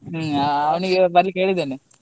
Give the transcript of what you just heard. ಹ್ಮ್ ಆ ಅವ್ನಿಗೆ ಬರ್ಲಿಕ್ಕೆ ಹೇಳಿದ್ದೇನೆ.